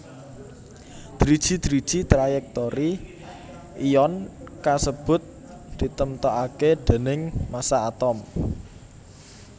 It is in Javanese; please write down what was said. Driji driji trayèktori ion kasebut ditemtokaké déning massa atom